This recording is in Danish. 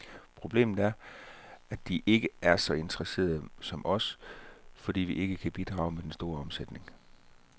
Problemet er, at de ikke er så interesseret som os, fordi vi ikke kan bidrage med den store omsætning.